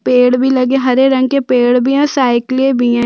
पेड़ भी लगे है हरे रंग के पेड़ भी है और साइकलें भी है।